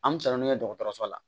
An bɛ san naani kɛ dɔgɔtɔrɔso la